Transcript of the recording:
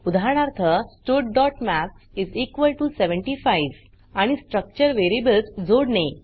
उदाहरणार्थ studमॅथ्स 75 आणि स्ट्रक्चर वेरीयेबल्स जोडणे